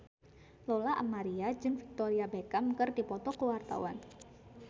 Lola Amaria jeung Victoria Beckham keur dipoto ku wartawan